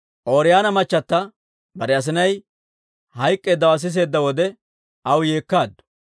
Ooriyoona machata bare asinay hayk'k'eeddawaa siseedda wode, aw yeekkaaddu.